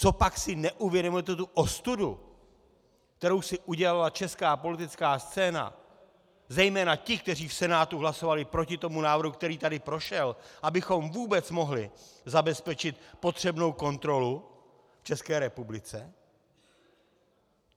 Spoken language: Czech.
Copak si neuvědomujete tu ostudu, kterou si udělala česká politická scéna, zejména ti, kteří v Senátu hlasovali proti tomu návrhu, který tady prošel, abychom vůbec mohli zabezpečit potřebnou kontrolu v České republice?